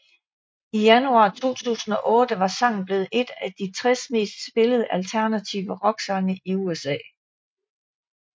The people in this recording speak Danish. I januar 2008 var sangen blevet en af de 60 mest spillede alternative rocksange i USA